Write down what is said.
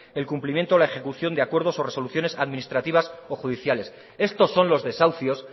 el cumplimiento de la ejecución de acuerdos o resoluciones administrativas o judiciales estos son los desahucios